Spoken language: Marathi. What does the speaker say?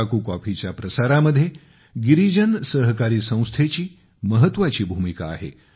अराकू कॉफीच्या प्रसारामध्ये गिरीजन सहकारी संस्थेची महत्वाची भूमिका आहे